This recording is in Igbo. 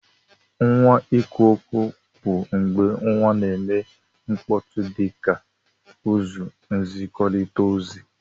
Nwa ikwuokwu bu mgbe nwa na eme mkpọtụ dika uzọ nzikọrita ozi.